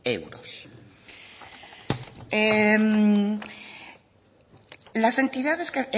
euros las entidades